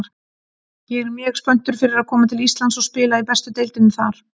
Ég er mjög spenntur fyrir að koma til Íslands og spila í bestu deildinni þar.